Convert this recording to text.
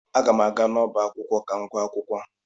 Aga m aga n'ọbá akwụkwọ ka m gụọ akwukwo.